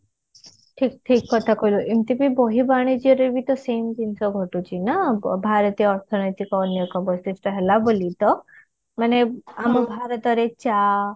ଠିକ ଠିକ କଥା କହିଲୁ ଏମତି ବି ବର୍ହି ବାଣିଜ୍ୟରେ ବି ତ same ଜିନିଷ ଘଟୁଛି ନା ଭାରତୀୟ ଅର୍ଥ ନୈତିକ ଅନ୍ୟ ଏକ ବୈଶିଷ୍ଟ ହେଲା ବୋଲି ତ ମାନେ ଆମ ଭରତରେ ଚା